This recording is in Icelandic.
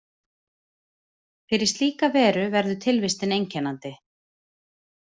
Fyrir slíka veru verður tilvistin einkennandi.